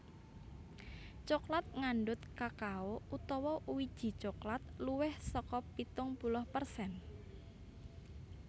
Coklat ngandhut kakao utawa wiji coklat luwih saka pitung puluh persen